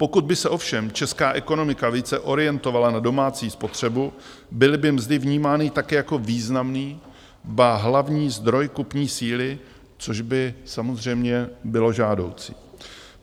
Pokud by se ovšem česká ekonomika více orientovala na domácí spotřebu, byly by mzdy vnímány tak jako významný, ba hlavní zdroj kupní síly, což by samozřejmě bylo žádoucí.